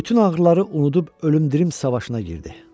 Bütün ağrıları unudub ölüm dirim savaşına girdi.